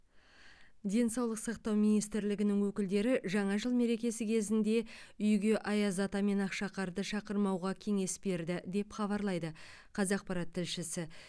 денсаулық сақтау министрлігінің өкілдері жаңа жыл мерекесі кезінде үйге аяз ата мен ақшақарды шақырмауға кеңес берді деп хабарлайды қазақпарат тілшісі